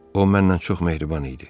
O mənlə çox mehriban idi.